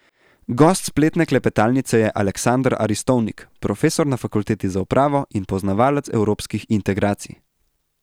Gost spletne klepetalnice je Aleksander Aristovnik, profesor na Fakulteti za upravo in poznavalec evropskih integracij.